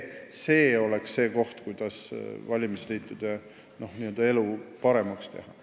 See oleks see koht, kuidas saaks valimisliitude elu paremaks teha.